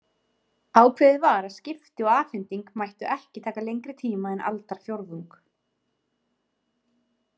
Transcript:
Ákveðið var að skipti og afhending mættu ekki taka lengri tíma en aldarfjórðung.